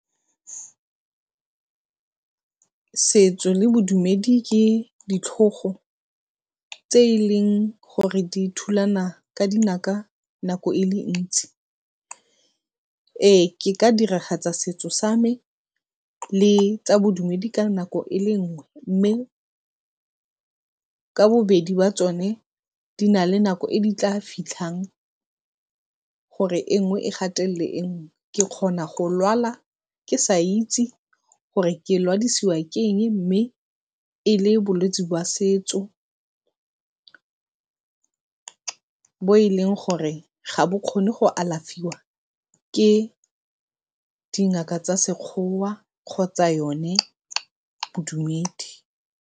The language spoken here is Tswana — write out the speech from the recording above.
Setso le bodumedi ke ditlhogo tse e leng gore di thulana ka dinaka nako e le ntsi. Ee, ke ka diragatsa setso sa me le tsa bodumedi ka nako e le nngwe mme, ka bobedi ba tsone di na le nako e di tla fitlhang gore e nngwe e gatelele e nngwe. Ke kgona go lwala mme ke sa itse gore ke lwadiwa ke eng mme e le bolwetsi jwa setso, bo e leng gore ga bo kgone go alafiwa ke dingaka tsa Sekgowa kgotsa yone bodumedi.